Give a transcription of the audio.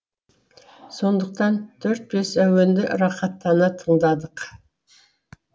сондықтан төрт бес әуенді рахаттана тыңдадық